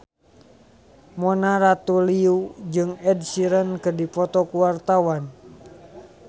Mona Ratuliu jeung Ed Sheeran keur dipoto ku wartawan